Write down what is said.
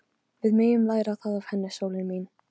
Við megum læra það af henni, sólin mín.